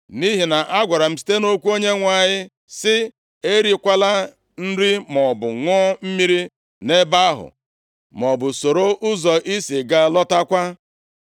Nʼihi na a gwara m site nʼokwu Onyenwe anyị sị, ‘Erikwala nri maọbụ ṅụọ mmiri nʼebe ahụ, maọbụ soro ụzọ ị si gaa lọtakwa.’ ”